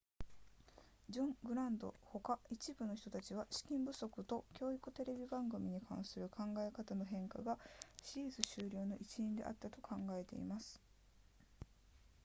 ジョングラントほか一部の人たちは資金不足と教育テレビ番組に関する考え方の変化がシリーズ終了の一因であったと考えています